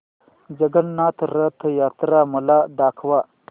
जगन्नाथ रथ यात्रा मला दाखवा